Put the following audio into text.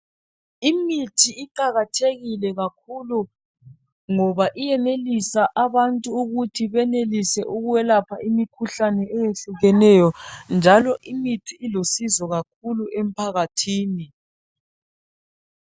Imithi iqakathekile kakhulu ngoba iyenelisa abantu ukuthi benelise ukwelapha imikhuhlane eyehlukeneyo njalo imithi iluncedo kakhulu emphakathini.